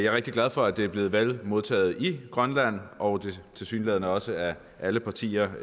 rigtig glad for at det er blevet vel modtaget i grønland og tilsyneladende også af alle partier